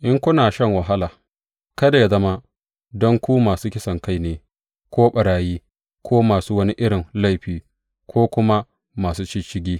In kuna shan wahala, kada yă zama don ku masu kisankai ne ko ɓarayi ko masu wani irin laifi ko kuma masu shisshigi.